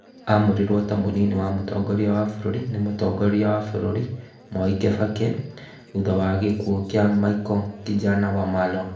Amũrirwo ta mũnini wa mũtongoria wa bũrũri ni mũtongoria wa bũrũri Mwai Kibaki thutha wa gĩkuo kĩa Michael Kijana Wamalwa